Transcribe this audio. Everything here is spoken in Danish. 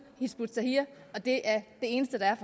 hizb ut tahrir og det er det eneste der er